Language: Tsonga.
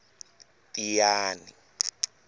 tiyani